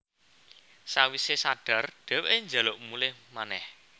Sawisé sadar dhèwèké njaluk mulih manèh